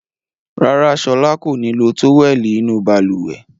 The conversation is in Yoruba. Rárá, Ṣọlá kò ní lo tówẹ́lì inú balùwẹ̀.